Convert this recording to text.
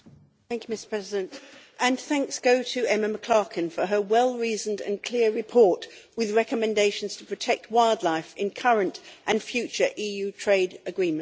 Mr President, my thanks go to Emma McClarkin for her well reasoned and clear report with recommendations to protect wildlife in current and future EU trade agreements.